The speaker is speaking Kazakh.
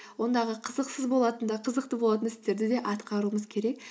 ондағы қызықсыз болатын да қызықты болатын істерді де атқаруымыз керек